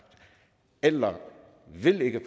eller ville ikke